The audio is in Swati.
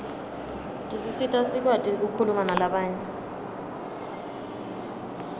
tisisita sikwati kukhuluma nalabanye